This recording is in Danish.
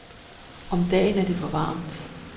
Om dagen er det for varmt.